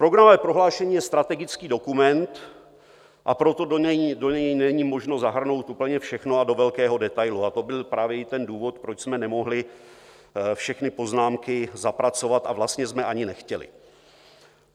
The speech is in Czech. Programové prohlášení je strategický dokument, a proto do něj není možno zahrnout úplně všechno a do velkého detailu, a to byl právě i ten důvod, proč jsme nemohli všechny poznámky zapracovat, a vlastně jsme ani nechtěli.